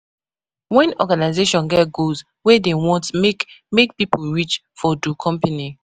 When organisation get goals wey dem want make make pipo reach for do company